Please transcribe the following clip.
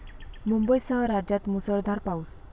मुंबईसह राज्यात मुसळधार पाऊस